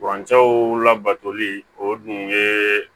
Kurancɛw labatoli o dun ye